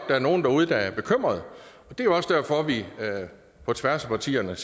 der er nogle derude der er bekymrede og det er også derfor at vi på tværs af partierne